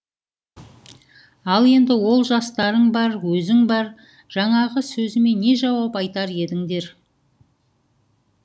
ал енді ол жастарың бар өзің бар жаңағы сөзіме не жауап айтар едіңдер